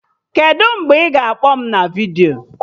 Kedụ mgbe ị ga-akpọ m na vidiyo?